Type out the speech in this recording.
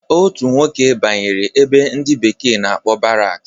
Otu nwoke banyere ebe ndi bekee na-akpọ baraks